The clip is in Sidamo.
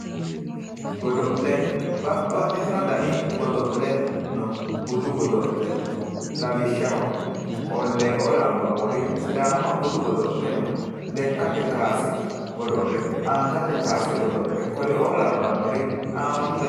Babbaxxitino dani godo'le no budu godo'le lawishshaho qollee"oo labbannori sidaamaho budu godo'le no lekkate kaase godo'le angate kaase godo'le koreoo labbannori haammatu dani